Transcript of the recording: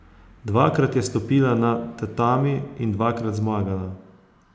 Dvakrat je stopila na tatami in dvakrat zmagala.